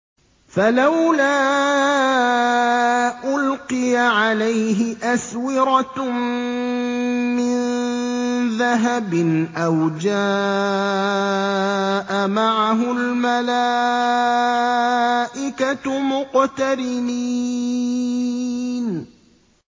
فَلَوْلَا أُلْقِيَ عَلَيْهِ أَسْوِرَةٌ مِّن ذَهَبٍ أَوْ جَاءَ مَعَهُ الْمَلَائِكَةُ مُقْتَرِنِينَ